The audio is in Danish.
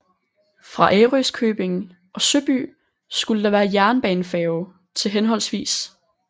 Fra Ærøskøbing og Søby skulle der være jernbanefærge til hhv